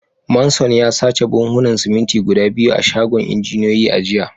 Manson ya sace buhunan siminti guda biyu a shagon injiniyoyi a jiya